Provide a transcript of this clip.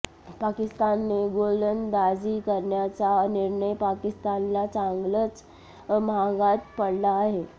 पाकिस्तानने गोलंदाजी करण्याचा निर्णय पाकिस्तानला चांगलाच माहागात पडला आहे